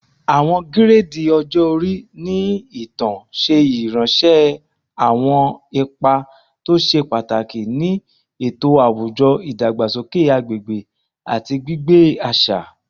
Awọn giredi ọjọ-ori ni itan ṣe iranṣẹ awọn ipa to ṣe pataki ni eto awujọ, idagbasoke agbegbe, ati gbigbe aṣa